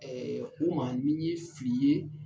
u ma ni n ye fili ye